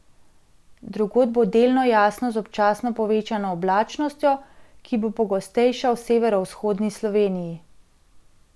Drugod bo delno jasno z občasno povečano oblačnostjo, ki bo pogostejša v severovzhodni Sloveniji.